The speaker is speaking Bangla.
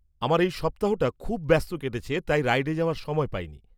-আমার এই সপ্তাহটা খুব ব্যস্ত কেটেছে তাই রাইডে যাওয়ার সময় পাইনি।